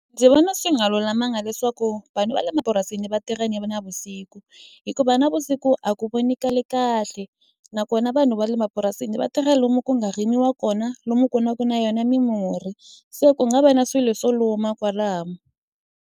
Ndzi vona swi nga lulamanga leswaku vanhu va le mapurasini va tirha yini va navusiku hikuva navusiku a ku vonikali kahle nakona vanhu va le mapurasini vatirha lomu ku nga rimiwa kona lomu ku na ku na yona mimurhi se ku nga va na swilo swo luma kwalaho.